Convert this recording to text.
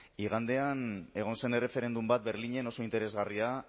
igandean egon zen erreferendum bat berlinen oso interesgarria